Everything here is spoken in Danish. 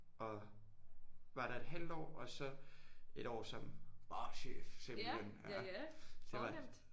Og var der et halvt år og så et år som barchef simpelthen ja det var